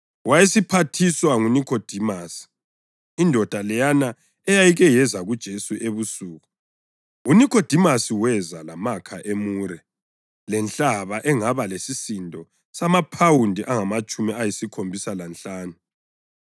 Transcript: Wayephathiswa nguNikhodimasi, indoda leyana eyayike yeza kuJesu ebusuku. UNikhodimasi weza lamakha emure lenhlaba engaba lesisindo samaphawundi angamatshumi ayisikhombisa lanhlanu.